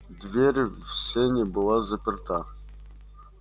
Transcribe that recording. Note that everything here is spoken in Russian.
дверь в сени была заперта